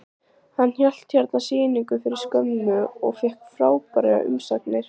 Hann hélt hérna sýningu fyrir skömmu og fékk frábærar umsagnir.